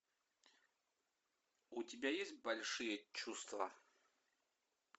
у тебя есть большие чувства